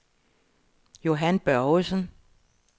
Johan Børgesen